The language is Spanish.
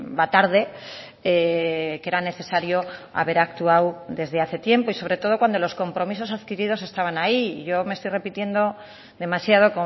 va tarde que era necesario haber actuado desde hace tiempo y sobre todo cuando los compromisos adquiridos estaban ahí y yo me estoy repitiendo demasiado